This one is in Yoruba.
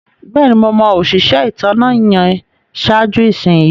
Bẹ́ẹ̀ni, mo mọ̀ òṣisẹ ìtànà yẹn sáàjú ìṣinyì.